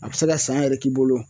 A bɛ se ka san yɛrɛ k'i bolo